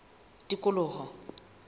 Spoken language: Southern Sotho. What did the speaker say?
tikoloho